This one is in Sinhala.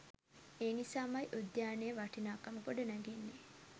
ඒ නිසාමයි උද්‍යානයේ වටිනාකම ගොඩනැගෙන්නේ